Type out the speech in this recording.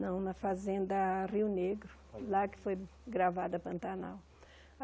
Não, na fazenda Rio Negro, lá que foi gravada Pantanal.